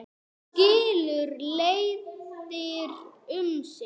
Nú skilur leiðir um sinn.